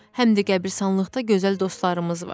Həm də qəbristanlıqda gözəl dostlarımız var.